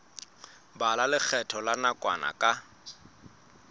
bala lekgetho la nakwana ka